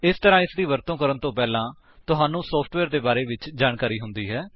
ਇਸ ਤਰ੍ਹਾਂ ਇਸਦੀ ਵਰਤੋ ਕਰਨ ਤੋਂ ਪਹਿਲਾਂ ਤੁਹਾਨੂੰ ਸੋਫਟਵੇਅਰ ਦੇ ਬਾਰੇ ਵਿੱਚ ਜਾਣਕਾਰੀ ਹੁੰਦੀ ਹੈ